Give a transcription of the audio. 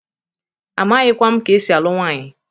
Amaghikwa m ka esi alụ nwanyị.